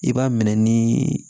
I b'a minɛ ni